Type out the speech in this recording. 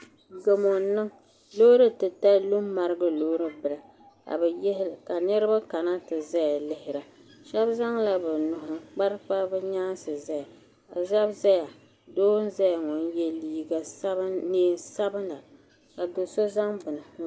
Gamo n niŋ loori titali lu n marigi loori bila ka niraba kana ti ʒɛya lihira shab zaŋla bi nuhi n kpabi kpabi bi nyaansi ʒɛya ka shab ʒɛya doo n ʒɛya ŋɔ n yɛ neen sabila ka do so zaŋ bini